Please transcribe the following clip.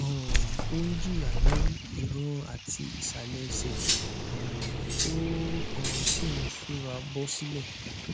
um ó ń jìya ní ìràn àti ìsàlẹ ẹsẹ um ó um sì ń ṣúra bọ silẹ